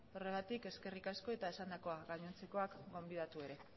horregatik eskerrik asko eta esandakoa gainontzekoak gonbidatu ere